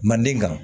Manden kan